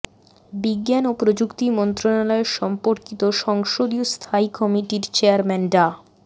বিজ্ঞান ও প্রযুক্তি মন্ত্রণালয় সম্পর্কিত সংসদীয় স্থায়ী কমিটির চেয়ারম্যান ডা